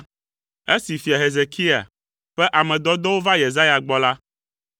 Esi fia Hezekia ƒe ame dɔdɔwo va Yesaya gbɔ la,